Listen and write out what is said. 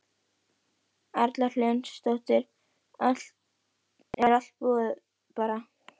Erla Hlynsdóttir: Er allt búið bara?